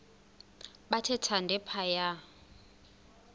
bathe thande phaya